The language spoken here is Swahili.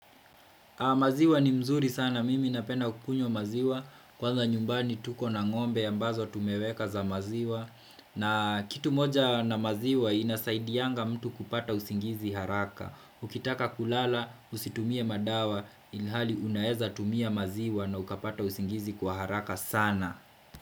Maziwa ni mzuri sana, mimi napenda kukunywa maziwa, kwanza nyumbani tukona ngombe ambazo tumeweka za maziwa, na kitu moja na maziwa inasaidianga mtu kupata usingizi haraka. Ukitaka kulala, usitumie madawa, ilhali unaezatumia maziwa na ukapata usingizi kwa haraka sana.